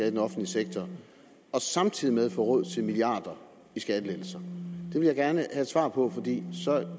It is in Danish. i den offentlige sektor og samtidig få råd til milliarder i skattelettelser det vil jeg gerne have svar på for